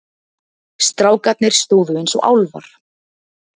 Strákarnir stóðu eins og álfar.